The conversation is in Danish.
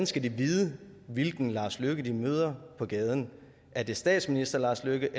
skal vide hvilken lars løkke rasmussen de møder på gaden er det statsminister lars løkke